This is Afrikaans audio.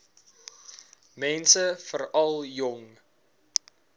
mense veral jong